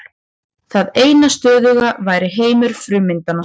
Það eina stöðuga væri heimur frummyndanna.